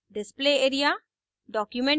display area